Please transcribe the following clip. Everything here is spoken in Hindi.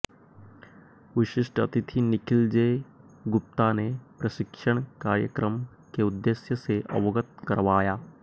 विशिष्ट अतिथि निखिल जे गुप्ता ने प्रशिक्षण कार्यक्रम के उद्देश्य से अवगत करावाया